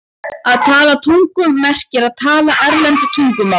Að tala tungum merkir að tala erlend tungumál.